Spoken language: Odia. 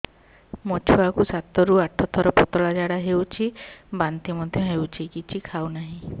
ମୋ ଛୁଆ କୁ ସାତ ରୁ ଆଠ ଥର ପତଳା ଝାଡା ହେଉଛି ବାନ୍ତି ମଧ୍ୟ୍ୟ ହେଉଛି କିଛି ଖାଉ ନାହିଁ